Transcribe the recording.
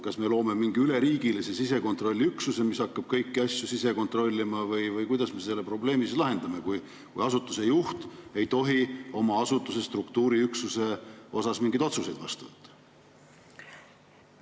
Kas me loome mingi üleriigilise sisekontrolliüksuse, mis hakkab kõiki asju sisekontrollima, või kuidas me selle probleemi lahendame, kui asutuse juht ei tohi oma asutuse struktuuriüksuse kohta mingeid otsuseid vastu võtta?